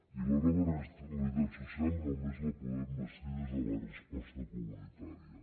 i la nova realitat social només la podem bastir des de la resposta comunitària